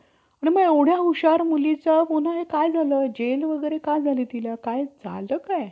येऊ देणार नाहीत. असे तुम्हा~ असे तुम्हास दिसेल. आताशा बहुतेक महार बूड~ बूट~ बुटलेर,